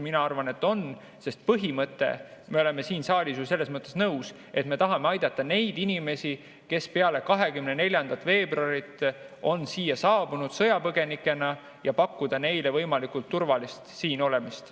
Mina arvan, et on, sest me oleme siin saalis ju selles mõttes kõik nõus, et me tahame aidata neid inimesi, kes pärast 24. veebruari on siia sõjapõgenikena saabunud, ja pakkuda neile võimalikult turvalist siinolemist.